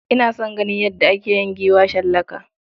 Ina son ganin yadda ake yin giwa shallaka.